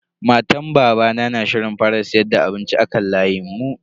Matan babana na shirin fara siyar da abinci a kan layin mu.